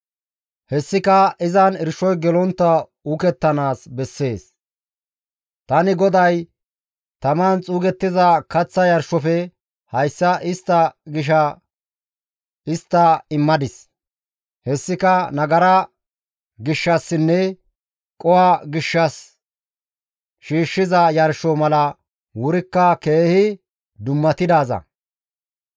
Hessika izan irshoy gelontta uukettanaas bessees; tani GODAY taman xuugettiza kaththa yarshofe hayssa istta gisha histta immadis; hessika nagara gishshassinne qoho gishshas shiishshiza yarsho mala wurikka keehi dummatidaaza.